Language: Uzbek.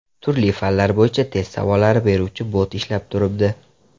Turli fanlar bo‘yicha test savollari beruvchi bot ishlab turibdi.